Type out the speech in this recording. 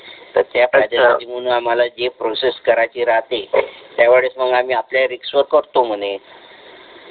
तर त्या प्रकारचे म्हणून आम्हाला जे प्रोसेस करायची राहते त्यावेळेस मग आम्ही आपल्या रिस्क वर करतो म्हणे